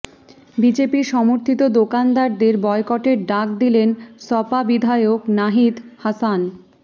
BJP সমর্থিত দোকানদারদের বয়কটের ডাক দিলেন সপা বিধায়ক নাহিদ হাসান